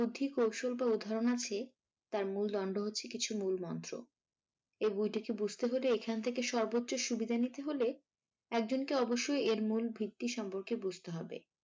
কৌশল বা উদাহরণ আছে তার মূল দণ্ড হচ্ছে কিছু মূল মন্ত্র এই বই টিকে বুঝতে হলে এখান থেকে সর্বোচ্চ সুবিধা নিতে হলে একজনকে অবশ্যই এর মূল ভিত্তি সম্পর্কে বুঝতে হবে।